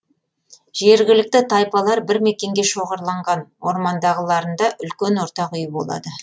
жергілікті тайпалар бір мекенге шоғырланған ормандағыларында үлкен ортақ үй болады